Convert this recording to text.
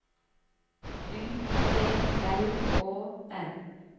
U T L Å N